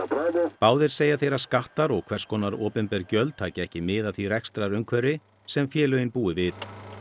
báðir segja þeir að skattar og hvers konar opinber gjöld taki ekki mið af því rekstrarumhverfi sem félögin búi við